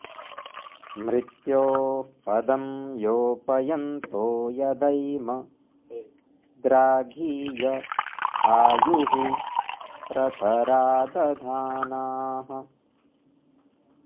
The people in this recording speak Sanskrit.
मृ॒त्योः प॒दं यो॒पय॑न्तो॒ यदैम॒ द्राघी॑य॒ आयुः॑ प्रत॒रां दधा॑नाः